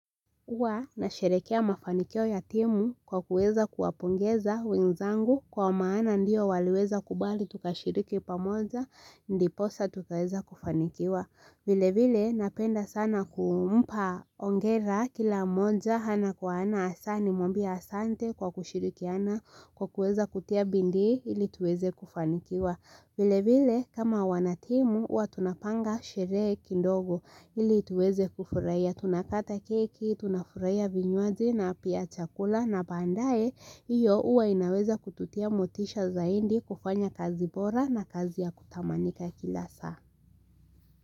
Huwa nasherekea mafanikio ya timu kwa kuweza kuwapongeza wenzangu kwa maana ndio waliweza kubali tukashiriki pamoja ndiposa tukaweza kufanikiwa vile vile napenda sana kumpa hongera kila mmoja ana kwa ana hasaa nimwambia asante kwa kushirikiana kwa kuweza kutia bidii ili tuweze kufanikiwa vilevile kama wanatimu huwa tunapanga sherehe kidogo ili tuweze kufurahia tunakata keki tunafurahia vinyuaji na pia chakula na baadae iyo uwa inaweza kututia motisha zaidi kufanya kazi bora na kazi ya kutamanika kila saa.